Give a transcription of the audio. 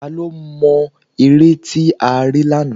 Tá ló mo ère tí a rí lánàá?